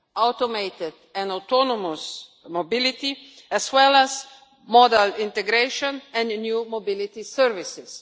automated and autonomous mobility, as well as modal integration and new mobility services.